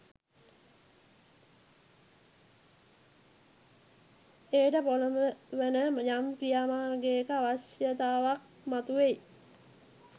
එයට පොලඹවන යම් ක්‍රියා මාර්ගයක අවශ්‍යතාවක් මතුවෙයි.